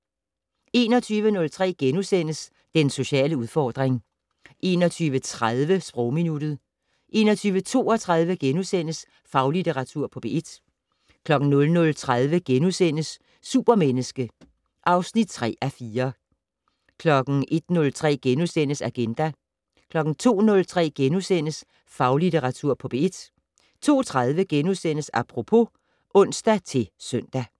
21:03: Den sociale udfordring * 21:30: Sprogminuttet 21:32: Faglitteratur på P1 * 00:30: Supermenneske (3:4)* 01:03: Agenda * 02:03: Faglitteratur på P1 * 02:30: Apropos *(ons-søn)